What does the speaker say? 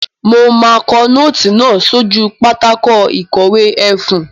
Mo máa kọ nóòtì náà sójú pátákó ìkọ̀wé ẹfun.